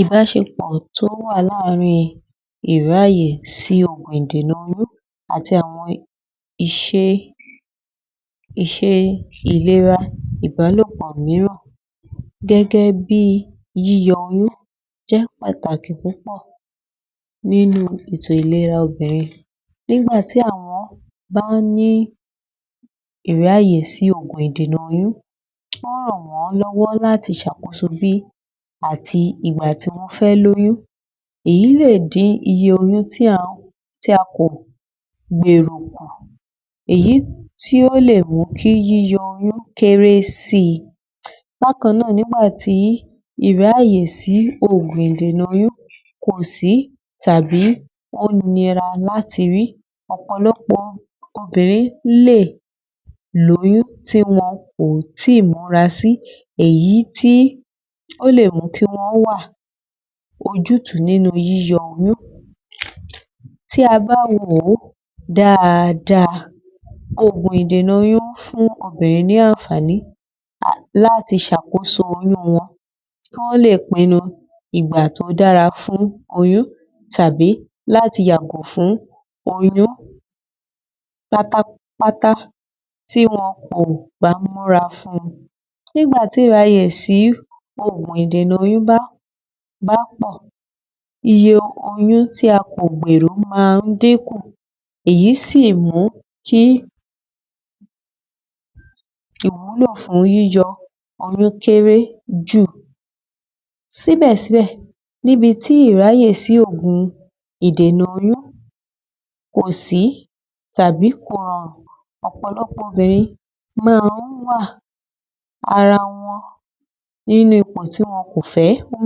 Ìbáṣepọ̀ tó wà láàárín ìráàyè sí ògùn ìdènà oyún àti àwọn ìṣe ìlera ìbálòpọ̀ mìíràn gẹ́gẹ́ bí yíyọ oyún jẹ́ pàtàkì púpọ̀ nínú ètò ìlera obìnrin. Nígbà tí àwọn bá ń ní ìráàyè sí ògùn ìdènà oyún, ó ràn wọ́n lọ́wọ́ láti ṣàkóso bí àti ìgbà tí wọ́n fẹ́ lóyún. Èyí lè din iye oyún tí a kò gbèrò kù, èyí tí ó lè mú kí yíyọ oyún kéré sì. Bákan náà nígbà tí ìráàyè sí ògùn ìdènà oyún kò sí, tàbí ó nira láti rí, ọ̀pọ̀lọpọ̀ obìnrin lè lóyún tí wọn kò ì tí múra sí, èyí tí ó lè mú kí wọ́n wà ojútùú nínú yíyọ oyún. Tí a bá wò ó dáadáa, ògùn ìdènà oyún fún obìnrin ní àǹfààní láti ṣàkóso oyún wọn, kọ́ lè pinnu ìgbà tó dára fún oyún tàbí láti yàgò fún oyún pátá pátá tí wọn kò bá múra fún un. Nígbà tí ìráàyè sí ògùn ìdènà oyún bá pọ̀, iye oyún tí a kò gbèrò máa ń dínkù. Èyí sì mú kí ìwúlò fún yíyọ oyún kéré jù. Síbẹ̀ síbẹ̀, níbi tí ìráàyè sí ògùn ìdènà oyún kò sí, tàbí kò rọrùn, ọ̀pọ̀lọpọ̀ obìnrin máa ń wà ara wọn nínú ipò tí wọn kò fẹ́ wọ́n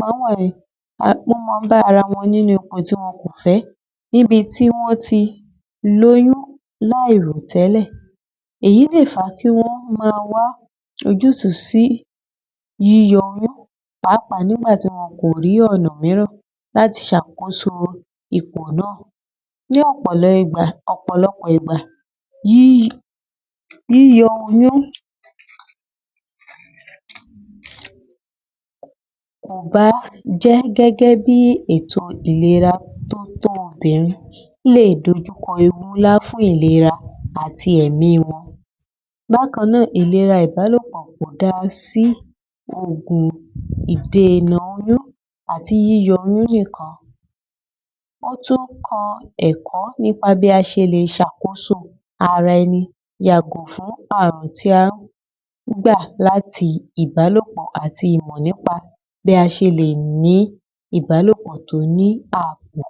máa ń bá ara wọn nínú ipò tí wọn kò fẹ́, níbi tí wọ́n ti lóyún láìrò tẹ́lẹ̀. Èyí lè fà á kí wọ́n má wá ojútùú sí yíyọ oyún pàápàá nígbà tí wọn kò rí ọ̀nà mìíràn láti ṣàkóso ipò náà. Ní ọ̀pọ̀lọpọ̀ ìgbà, yíyọ oyún kò bá jẹ́ gẹ́gẹ́ bí ètò ìlera tó tó obìnrin lè dojú kọ ewu ńlá fún ìlera àti ẹ̀mí wọn. Bákan náà ìlera ìbálòpọ̀ da sí oògùn ìdènà oyún àti yíyọ oyún nìkan. Ó tún kọ́ ẹ̀kọ́ nípa bí a ṣe lè ṣàkóso ara ẹni yàgò fún àrùn tí a ń gbà láti ìbálòpọ̀ àti Ìmọ̀ nípa bí a ṣe lè ní ìbálòpọ̀ tó ní àbò.